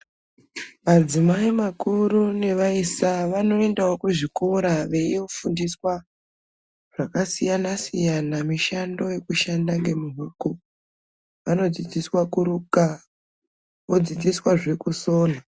Madzimai makuru nevaisa vanoendawo kuzvikora veiofundiswa zvakasiyana-siyana, mishando yekushanda ngemuoko. Vanodzidziswa kuruka, vodzidziswazve kusona.